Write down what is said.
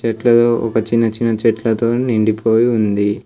ఎట్లదో ఒక చిన్న చిన్న చెట్లతో నిండిపోయి ఉంది.